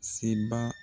Seba